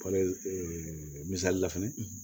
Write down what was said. Kɔlili misali la fɛnɛ